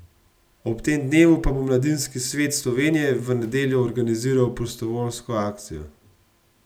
Ob tem dnevu pa bo Mladinski svet Slovenije v nedeljo organiziral prostovoljsko akcijo.